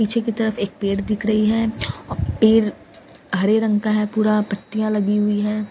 पीछे की तरफ एक पेड़ दिख रही है पेड़ हरे रंग का है पूरा पत्तियाँ लगी हुई है ।